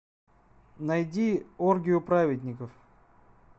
найди оргию праведников